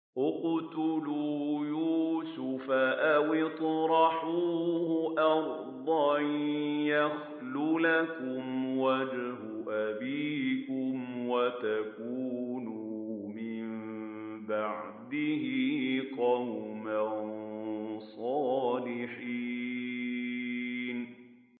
اقْتُلُوا يُوسُفَ أَوِ اطْرَحُوهُ أَرْضًا يَخْلُ لَكُمْ وَجْهُ أَبِيكُمْ وَتَكُونُوا مِن بَعْدِهِ قَوْمًا صَالِحِينَ